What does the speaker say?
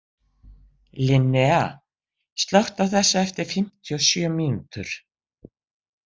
Linnea, slökktu á þessu eftir fimmtíu og sjö mínútur.